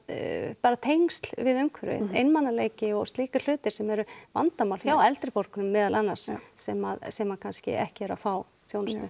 bara tengsl við umhverfið einmanaleiki og slíkir hlutir sem eru vandamál hjá eldri borgurum meðal annars sem sem kannski ekki eru að fá þjónustu